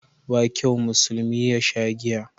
Ba kyau musulmi yasha giya